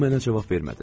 O mənə cavab vermədi.